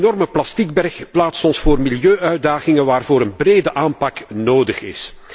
De enorme plasticberg plaatst ons voor milieu uitdagingen waarvoor een brede aanpak nodig is.